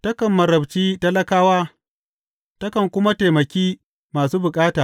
Takan marabci talakawa takan kuma taimaki masu bukata.